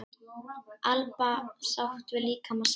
Alba sátt við líkama sinn